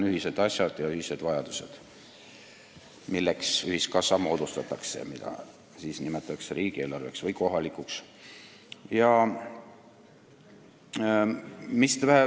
Ühiskassa moodustatakse ühiste asjade ja ühiste vajaduste tarbeks ning seda nimetatakse riigi- või kohalikuks eelarveks.